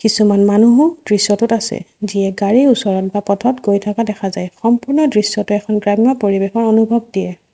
কিছুমান মানুহো দৃশ্যটোত আছে যিয়ে গাড়ীৰ ওচৰত বা পথত গৈ থকা দেখা যায় সম্পূৰ্ণ দৃশ্যটো এখন গ্ৰামীণৰ পৰিৱেশৰ অনুভৱ দিয়ে।